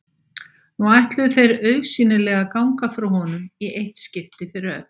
Nú ætluðu þeir augsýnilega að ganga frá honum í eitt skipti fyrir öll.